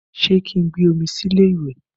Ṣé kí n gbé omi sí ilé ìwẹ̀?